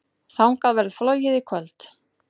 Þangað verður flogið í kvöld.